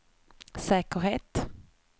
säkerhet